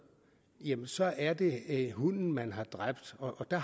så er det hunden man har dræbt og